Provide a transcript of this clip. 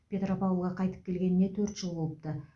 петропавлға қайтып келгеніне төрт жыл болыпты